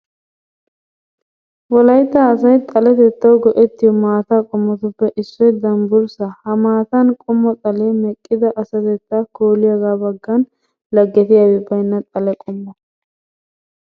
Wolaytta asay xaletettawu go"ettiyo maataa qommotuppe issoy dambburssaa ha maata qommo xalee meqqida asatettaa kooliyogaa baggan laggetiyabi baynna xale qommo.